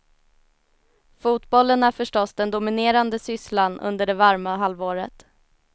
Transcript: Fotbollen är förstås den dominerande sysslan under det varma halvåret.